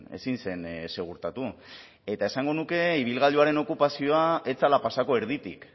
ezin zen segurtatu eta esango nuke ibilgailuaren okupazioa ez zela pasako erditik